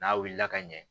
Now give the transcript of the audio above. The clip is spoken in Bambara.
N'a wulila ka ɲɛ